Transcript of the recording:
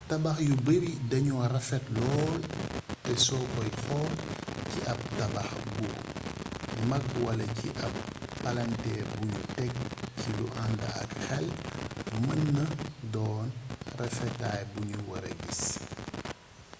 tabax yu bari dañoo rafet lool te soo koy xool ci ab tabax bu magwala ci ab palanteer buñu tek ci lu ànd ak xel mën naa doon rafetaay buñu wara gis